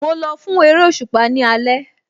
Mo lọ fún eréṣùpá ní alẹ́